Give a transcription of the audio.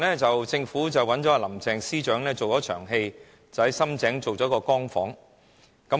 政府最近找了林鄭司長做一場戲，在深井經營了一個"光屋"。